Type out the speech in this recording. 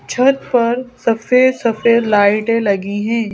छत पर सफेद-सफेद लाइटें लगी हैं।